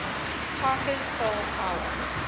parker's soul power